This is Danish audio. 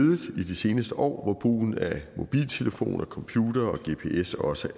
i de seneste år hvor brugen af mobiltelefoner computere og gps også